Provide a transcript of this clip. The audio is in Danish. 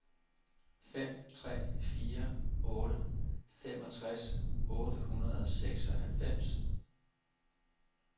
fem tre fire otte femogtres otte hundrede og seksoghalvfems